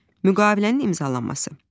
Müqavilənin imzalanması.